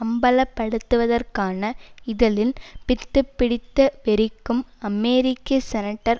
அம்பலப்படுத்துவதற்கான இதழின் பித்துப்பிடித்த வெறிக்கும் அமெரிக்க செனட்டர்